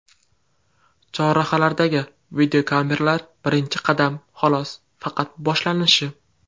Chorrahalardagi videokameralar birinchi qadam, xolos, faqat boshlanishi.